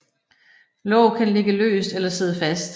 Låg kan ligge løst eller sidde fast